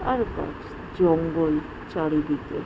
আর গাছ জঙ্গল চারিদিকে।